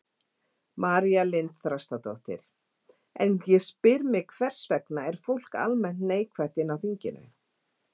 María Lilja Þrastardóttir: En ég spyr hvers vegna, er fólk almennt neikvætt inni á þinginu?